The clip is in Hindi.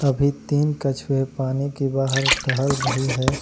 और ये तीन कछुए पानी के बाहर टहल रहे है।